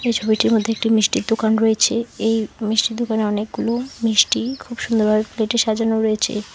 এই ছবিটির মধ্যে একটি মিষ্টির দোকান রয়েছে এই মিষ্টির দোকানে অনেকগুলো মিষ্টি খুব সুন্দরভাবে প্লেটে সাজানো রয়েছে।